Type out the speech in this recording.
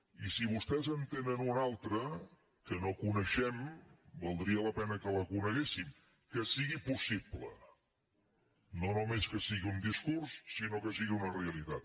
i si vostès en tenen una altra que no coneixem valdria la pena que la coneguéssim que sigui possible no només que sigui un discurs sinó que sigui una realitat